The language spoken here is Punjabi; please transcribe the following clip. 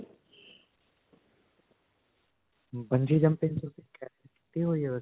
bungee jumping ਕੀਤੀ ਹੋਈ ਹੈ ਵੈਸੇ.